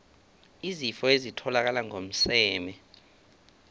izifo ezitholakala ngokomseme